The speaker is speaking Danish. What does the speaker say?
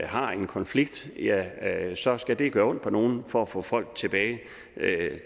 har en konflikt ja så skal det gøre ondt på nogle for at få folk tilbage